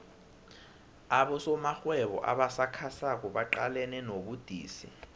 abosomarhwebo abasakhasako baqalene nobudisi